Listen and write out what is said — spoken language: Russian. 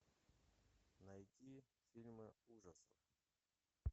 найти фильмы ужасов